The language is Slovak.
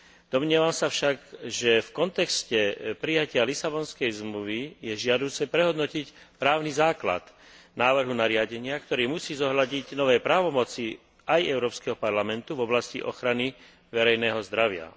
Domnievam sa však, že v kontexte prijatia Lisabonskej zmluvy je žiaduce prehodnotiť právny základ návrhu nariadenia, ktorý musí zohľadniť nové právomoci aj Európskeho parlamentu v oblasti ochrany verejného zdravia.